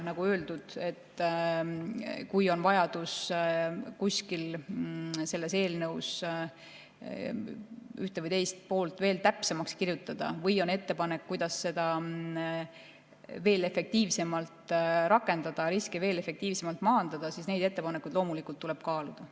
Nagu öeldud, kui on vajadus selles eelnõus ühte või teist poolt veel täpsemaks kirjutada või on ettepanek, kuidas seda veel efektiivsemalt rakendada, riske efektiivsemalt maandada, siis neid ettepanekuid tuleb loomulikult kaaluda.